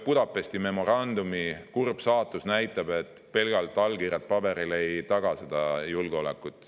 Budapesti memorandumi kurb saatus näitab, et pelgalt allkirjad paberil ei taga julgeolekut.